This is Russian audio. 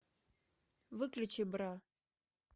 выключи бра